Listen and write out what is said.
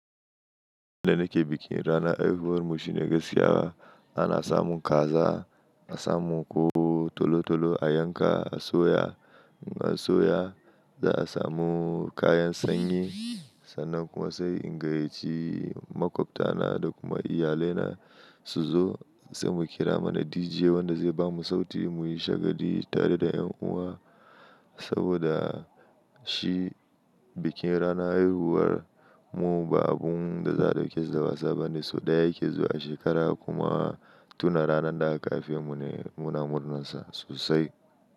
Inda nake bikin ranar haihuwar mu shine gaskiya ana samun kaza, a samun ku tolo-tolo a yanka a soya. In an soya za'a samu kayan sanyi sannan kuma sai in gayyaci maƙwabta na da kuma iyalai na su zo sai mu kira mana DJ wanda zai bamu sauti mu yi shagali tare da ’yan uwa saboda shi bikin ranar haihuwar mu ba abun da za'a dauke da wasa ba ne sau ɗaya yake zuwa a shekara kuma tun a ranar da aka haife mu ne muna murnar sa sosai.